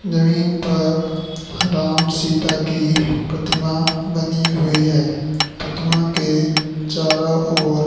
नवीन पर राम सीता की प्रतिमा बनी हुई हैं। प्रतिमा के चारों ओर--